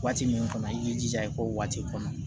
Waati min kɔnɔ i k'i jija i k'o waati kɔnɔ